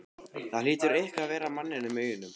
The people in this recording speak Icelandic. Það hlýtur eitthvað að vera að manninum í augunum.